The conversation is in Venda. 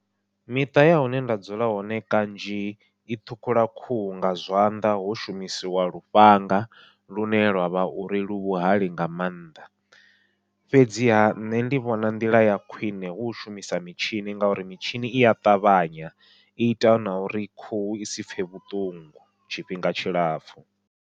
Miṱa ya hune nda dzula hone kanzhi i ṱhukhula khuhu nga zwanḓa ho shumisiwa lufhanga lune lwavha uri lu vhuhali nga maanḓa, fhedziha nṋe ndi vhona nḓila ya khwiṋe hu u shumisa mitshini ngauri mitshini ia ṱavhanya i ita na uri khuhu i sipfhe vhuṱungu tshifhinga tshilapfhu.